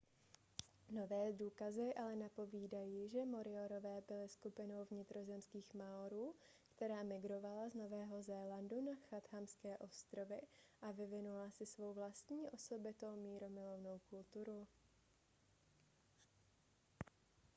nové důkazy ale napovídají že moriorové byli skupinou vnitrozemských maorů která migrovala z nového zélandu na chathamské ostrovy a vyvinula si svou vlastní osobitou mírumilovnou kulturu